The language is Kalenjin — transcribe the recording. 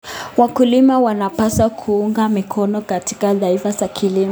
Wakulima wanapaswa kuunga mkono tafiti za kilimo.